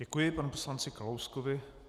Děkuji panu poslanci Kalouskovi.